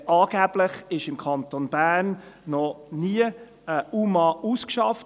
Angeblich wurde im Kanton Bern noch nie ein unbegleiteter, minderjähriger Asylsuchender (UMA) ausgeschafft.